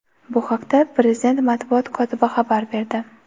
Bu haqda prezident matbuot kotibi xabar berdi.